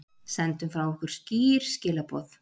Sendum frá okkur skýr skilaboð